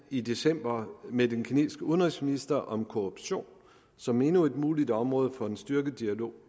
i december med den kinesiske udenrigsminister om korruption som endnu et muligt område for en styrket dialog